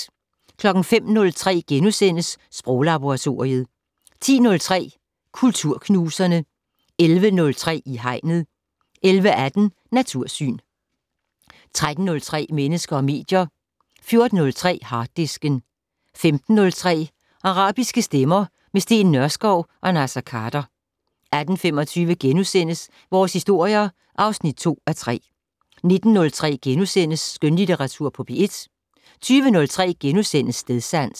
05:03: Sproglaboratoriet * 10:03: Kulturknuserne 11:03: I Hegnet 11:18: Natursyn 13:03: Mennesker og medier 14:03: Harddisken 15:03: Arabiske stemmer - med Steen Nørskov og Naser Khader 18:25: Vores historier (2:3)* 19:03: Skønlitteratur på P1 * 20:03: Stedsans *